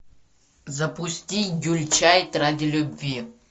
запусти гюльчатай ради любви